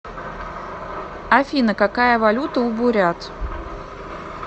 афина какая валюта у бурят